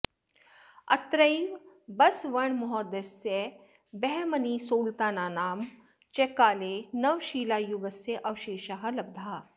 अत्रैव बसवण्णमहोदयस्य बहमनिसुल्तानानां च काले नवशिलायुगस्य अवशेषाः लब्धाः